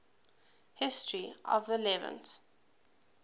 history of the levant